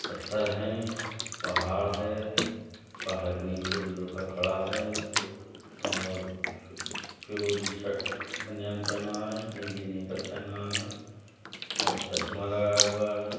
पत्थर है पहाड़ है पहाड़ के नीचे वो लड़का खड़ा है और फिरोजी शर्ट बनियान पेहना है नीले नेकर पेहना है और चश्मा लगाया हुआ है।